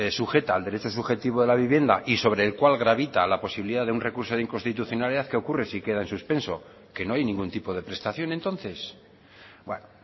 sujeta al derecho subjetivo de la vivienda y sobre el cual gravita la posibilidad de un recurso de inconstitucionalidad qué ocurre sí queda en suspenso qué no hay ningún tipo de prestación entonces bueno